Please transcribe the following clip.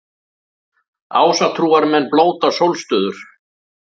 Ásatrúarmenn blóta sólstöður